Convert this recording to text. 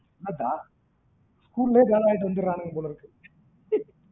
அதான் school லேயே வேல வாங்கிட்டு வந்துரனுங்க போல இருக்கு